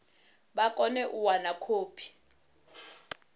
vha kone u wana khophi